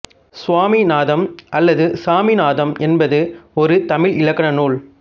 சுவாமிநாதம் அல்லது சாமிநாதம் என்பது ஒரு தமிழ் இலக்கண நூல்